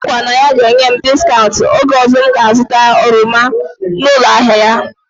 O kwere nkwa na ya ga-enye m discaụnt oge ọzọ m ga azụta oroma n'ụlọ ahịa ya